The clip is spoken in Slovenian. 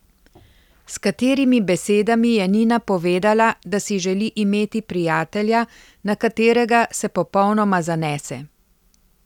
S katerimi besedami je Nina povedala, da si želi imeti prijatelja, na katerega se popolnoma zanese?